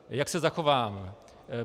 Jak se zachovám?